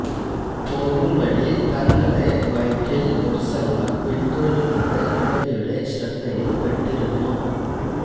പോകും വഴി തങ്ങളെ ബൈക്കില് ഒരു സംഘം പിന്തുടരുന്നത് യുവതിയുടെ ശ്രദ്ധയില് പെട്ടിരുന്നു